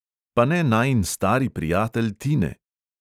Pa ne najin stari prijatelj tine?